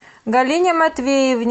галине матвеевне